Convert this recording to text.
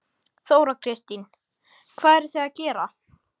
Þóra Kristín: Hvað eruð þið að gera?